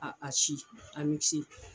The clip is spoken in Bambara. A a si a misi